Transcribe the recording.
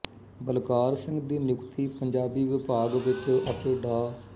ਬਲਕਾਰ ਸਿੰਘ ਦੀ ਨਿਯੁਕਤੀ ਪੰਜਾਬੀ ਵਿਭਾਗ ਵਿੱਚ ਅਤੇ ਡਾ